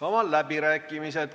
Avan läbirääkimised.